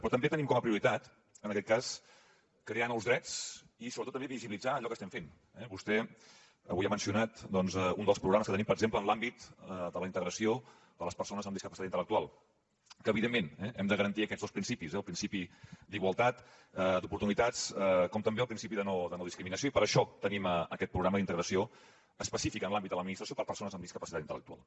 però també tenim com a prioritat en aquest cas crear nous drets i sobretot també visibilitzar allò que estem fent eh vostè avui ha mencionat un dels programes que tenim per exemple en l’àmbit de la integració de les persones amb discapacitat intel·lectual que evidentment hem de garantir aquests dos principis el principi d’igualtat d’oportunitats com també el principi de no discriminació i per això tenim aquest programa d’integració específic en l’àmbit de l’administració per a persones amb discapacitat intel·lectual